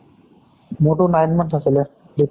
মোৰ টো nine months আছিলে যেতিয়া